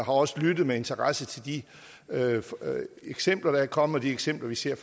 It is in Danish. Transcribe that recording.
også lyttet med interesse til de eksempler der er kommet de eksempler vi ser i